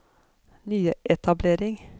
nyetablering